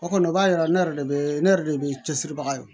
O kɔni o b'a yira ne yɛrɛ de be ne yɛrɛ de be cɛsiri baga ye o